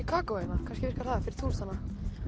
kakó hérna kannski virkar það fyrir túristana